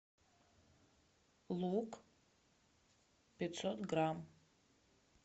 лук пятьсот грамм